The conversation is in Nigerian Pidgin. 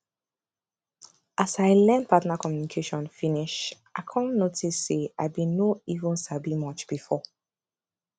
as i learn partner communication finishe i come notice say i been no even sabi much before